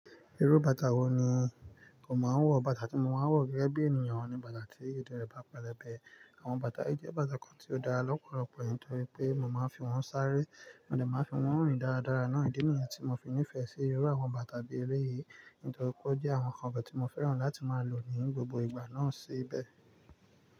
Irú bàtà wo ni ò máa ń wọ̀? Bàtà tí mo máa ń wọ̀ gẹ́gẹ́ bí ènìyàn ní bàtà tí ìdí rẹ bá pẹlẹbẹ. Àwọn bàtà, yìí jẹ́ bàtà kan tí ó dára lọ́pọ̀lọpọ̀ nítorí pé mo máa ń fi wọ́n sáré, mo dè máa ń fi wọ́n rìn dáradára náà ìdí nìyẹn tí mo fi nífẹ̀ẹ́ sí irú àwọn bàtà bí eléyìí nítorí pé ó jẹ́ àwọn ǹkan ọbẹ̀ tí mo fẹ́ràn láti máa lò ní gbogbo ìgbà náà síbẹ̀.